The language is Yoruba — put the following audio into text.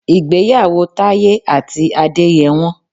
Ìgbéyàwó Taye àti Adé yẹ wọ́n.